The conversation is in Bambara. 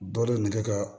Dɔ de ye nɛgɛ ka